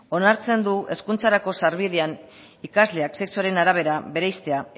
onartzen du hezkuntzarako sarbidean ikasleak sexuaren arabera bereiztea